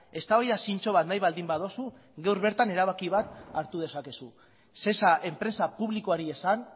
eztabaida zintzo bat nahi baldin baduzu gaur bertan erabaki bat hartu dezakezu sesa enpresa publikoari esan